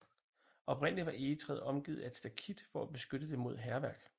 Oprindeligt var egetræet omgivet af et stakit for at beskytte det mod hærværk